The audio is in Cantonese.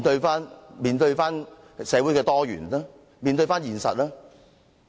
要面對社會的多元，面對現實。